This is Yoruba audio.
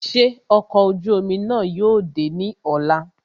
Ṣé ọkọ̀ ojú omi náà yóò dé ní ọ̀la